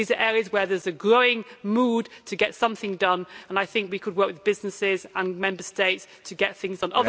These are areas where there is a growing mood to get something done, and I think we could work with businesses and Member States to get things done.